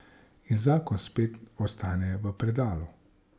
In zakon spet ostane v predalu.